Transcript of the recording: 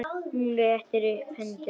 Hún rétti upp hendur.